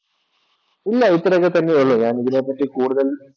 ഇല്ല ഇത്തരമൊക്കെ തന്നെയുള്ളു ഞാൻ ഇതിനെപറ്റി കൂടുതൽ